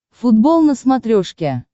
футбол на смотрешке